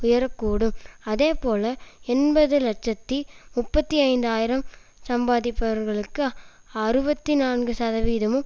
உயர கூடும் அதே போல எண்பது இலட்சத்தி முப்பத்தி ஐந்து ஆயிரம் சம்பாதிப்பவர்களுக்கு அறுபத்தி நான்கு சதவீதமும்